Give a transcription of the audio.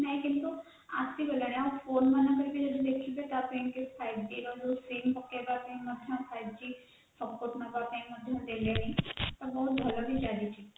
ଆସିଗଲାଣି ଆମ ଫୋନ ରେ ଯଦି ଦେଖିବେ ତା ପାଇଁ five g ର sim ପକେଇବା ପାଇଁ ମଧ୍ୟ five g support ନବାପାଇଁ ମଧ୍ୟ ଦେଲେଣି ବହୁତ ଭଲ ବି ଚାଲିଛି